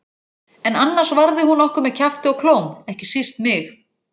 En annars varði hún okkur með kjafti og klóm, ekki síst mig.